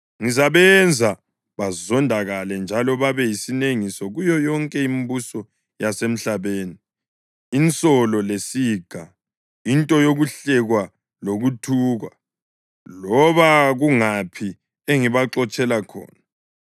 Ngizabenza bazondakale njalo babe yisinengiso kuyo yonke imibuso yasemhlabeni, insolo lesiga, into yokuhlekwa lokuthukwa, loba kungaphi engibaxotshela khona.